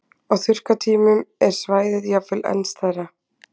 Á þurrkatímum er svæðið jafnvel enn stærra.